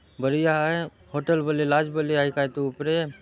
बड़िया आय होटल बले लाज बले आय कायतो ऊपरे--